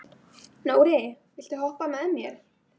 Nóri, viltu hoppa með mér?